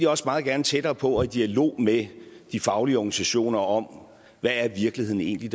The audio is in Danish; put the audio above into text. også meget gerne tættere på og i dialog med de faglige organisationer om hvad virkeligheden egentlig